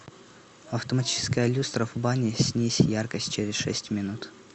автоматическая люстра в бане снизь яркость через шесть минут